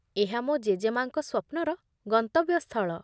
ଏହା ମୋ ଜେଜେମା'ଙ୍କ ସ୍ୱପ୍ନର ଗନ୍ତବ୍ୟସ୍ଥଳ।